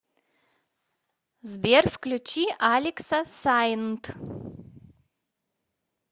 сбер включи алекса сайнт